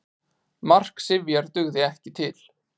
Mark Sifjar dugði ekki til